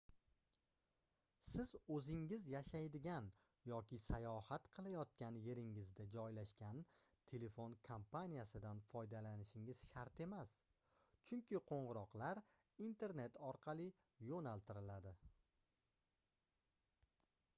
siz oʻzingiz yashaydigan yoki sayohat qilayotgan yeringizda joylashgan telefon kompaniyasidan foydalanishingiz shart emas chunki qoʻngʻiroqlar internet orqali yoʻnaltiriladi